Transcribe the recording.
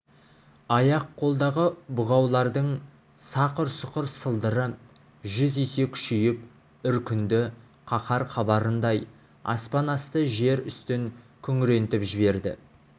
аяқ-қолдағы бұғаулардың сақыр-сұқыр сылдыры жүз есе күшейіп үркінді қаһар хабарындай аспан асты жер үстін күңірентіп жіберді